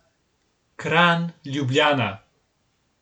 Kranj, Ljubljana.